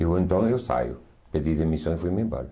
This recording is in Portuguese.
Eu então eu saio, pedi demissão e fui me embora.